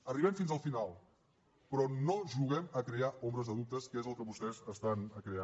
arribem fins al final però no juguem a crear ombres de dubte que és el que vostès estan creant